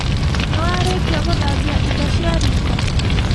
Nĩwarĩkia gũthambia indo cia riko?